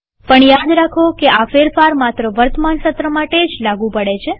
પણ યાદ રાખો કે આ ફેરફાર માત્ર વર્તમાન સત્ર માટે જ લાગુ પડે છે